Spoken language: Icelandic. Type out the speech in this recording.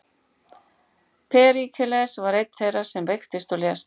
Períkles var einn þeirra sem veiktist og lést.